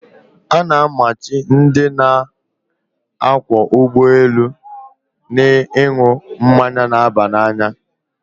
A na-amachi ndị na-akwọ ụgbọelu ịṅụ mmanya na-aba n'anya.